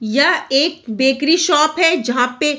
यह एक bakery shop है जहाँ पे --